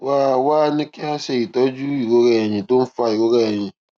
wá a wá a ní kí wón ṣe itọju ìrora ẹyìn tó ń fa ìrora ẹyìn